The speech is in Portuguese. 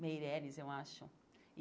Meirelles, eu acho.